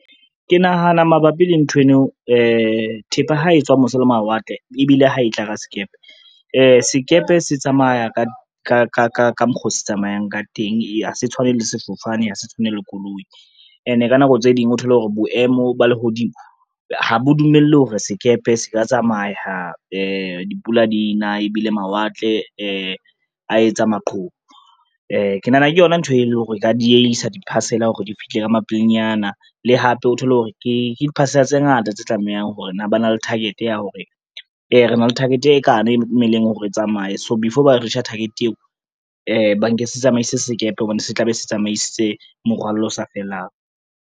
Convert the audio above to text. Ke nahana mabapi le nthweno thepa ha e tswa mose le mawatle ebile ha e tla ka sekepe. Sekepe se tsamaya ka mokgwa oo se tsamayang ka teng ha se tshwane le sefofane, ha se tshwane le koloi ene ka nako tse ding o thole hore boemo ba lehodimo, ha bo dumelle hore sekepe se ka tsamaya dipula dina ebile mawatle a etsa maqhubu. Ke nahana ke yona ntho e leng hore e ka diehisa di-parcel-a hore di fihle ka mapelenyana le hape o thole hore ke di-parcel-a tse ngata tse tlamehang hore na ba na le target ya hore, re na le target e kana e tlameleng hore e tsamaye, so before ba reach-a target eo banke se tsamaise sekepe hobane se tla be se tsamaisitse morwalo o sa fellang.